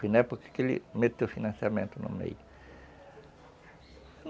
Na época que ele meteu financiamento no meio.